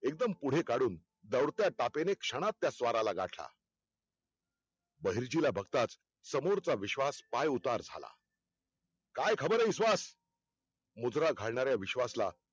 एकदम पुढे काढून दौडत्या तापेणे क्षणात त्या स्वाराला गाठला. बहिरजीला बघताच समोरचा विश्वास पाय उतार झाला काय खबर आहे विश्वास? मुजरा घालणाऱ्या विश्वासला